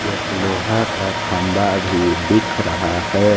एक लोहा का खंभा भी दिख रहा है।